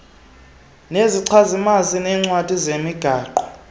nezichazimazwi neecwadi zemigaqo